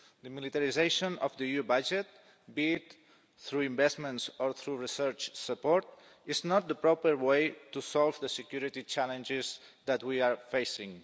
The militarisation of the EU budget, be it through investments or through research support, is not the proper way to solve the security challenges that we are facing.